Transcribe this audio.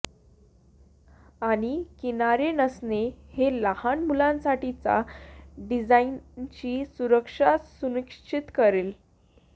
आणि किनारे नसणे हे लहान मुलांसाठीच्या डिझाईनची सुरक्षा सुनिश्चित करेल